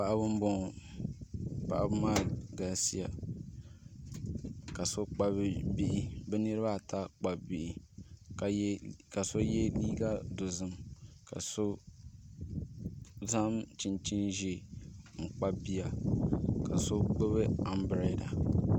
Paɣaba n boŋo paɣaba maa galisiya ka bi niraba ata kpabi bihi ka so yɛ liiga dozim ka so zaŋ chinchin ʒiɛ n kpabi bia ka so gbubi anbirɛla